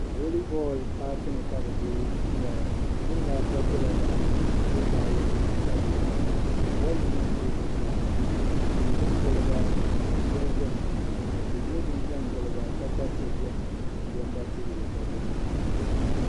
Voli bolli paaki ni ka bɛ be m-ŋmɛra niriba ata bela yaɣ'yini ka niriba ayi gba be yaɣ'yini bolli maa m-be zuɣusaa ŋɔ bɛ me bini gili ba ka dundoli beni ka tihi nyɛ din za gili ba kpaakpa tihi beni gɔnda tihi gba beni